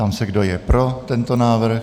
Ptám se, kdo je pro tento návrh.